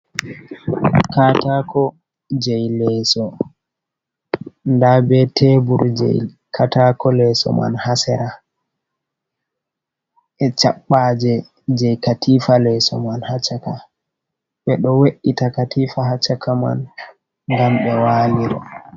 Katako jei leeso, nda be tebur jei katako leso man ha sera e chaɓɓaje jei katifa leeso man ha caka, ɓe ɗo we’ita katifa haccaka man ngam ɓe waliro.